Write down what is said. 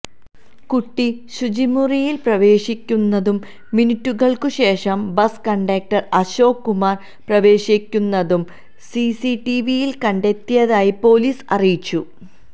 കുട്ടി ശുചിമുറിയില് പ്രവേശിക്കുന്നതും മിനിറ്റുകള്ക്കുശേഷം ബസ് കണ്ടക്ടര് അശോക് കുമാര് പ്രവേശിക്കുന്നതും സിസിടിവിയില് കണ്ടെത്തിയതായി പൊലീസ് അറിയിച്ചു